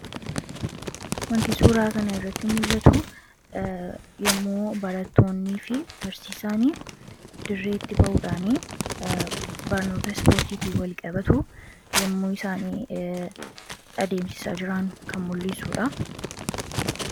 wanti suuraa kana irratti mul'atu yommuo baratoonnii fi barsiisaanii dirreetti ba'uudhaanii barnoota ispoortiitii wal-qabatu yommuu isaanii adeemsisaa jiraan kan mul'iisuudha